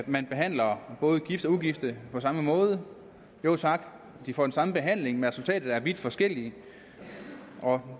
man behandler både gifte og ugifte på samme måde jo tak de får den samme behandling men resultatet er vidt forskelligt det kommer